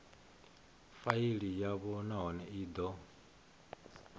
faili yavho nahone i do